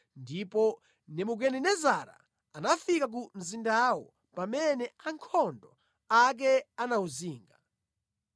ndipo Nebukadinezara anafika ku mzindawo pamene ankhondo ake anawuzinga.